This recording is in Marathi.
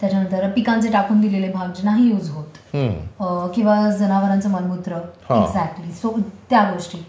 नंतर पिकांचे टाकून दिलेले भाग जे नाही युज होत किंवा जनावरांचं मलमूत्र सो त्या गोष्टी